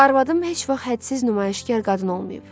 Arvadım heç vaxt hədsiz nümayişkar qadın olmuyub.